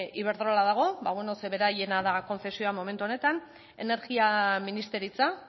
iberdrola dago ba bueno zeren beraiena da kontzesioa momentu honetan energia ministeritza